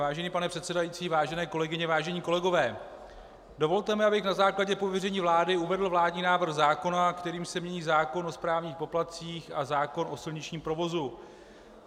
Vážený pane předsedající, vážené kolegyně, vážení kolegové, dovolte mi, abych na základě pověření vlády uvedl vládní návrh zákona, kterým se mění zákon o správních poplatcích a zákon o silničním provozu.